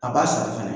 A b'a sara fɛnɛ